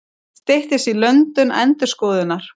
Styttist í löndun endurskoðunar